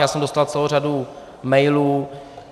Já jsem dostal celou řadu mailů.